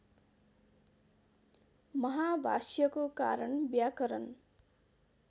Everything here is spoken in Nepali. महाभाष्यको कारण व्याकरण